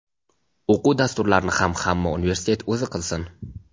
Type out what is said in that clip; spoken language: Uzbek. O‘quv dasturlarini ham hamma universitet o‘zi qilsin.